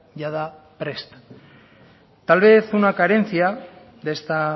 jada prest tal vez una carencia de esta